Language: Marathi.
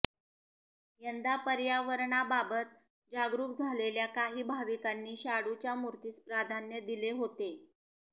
यंदा पर्यावरणाबाबत जागरुक झालेल्या काही भाविकांनी शाडूच्या मूर्तीस प्राधान्य दिले होते